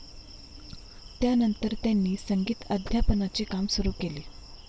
त्यानंतर त्यांनी संगीत अध्यापनाचे काम सुरु केले.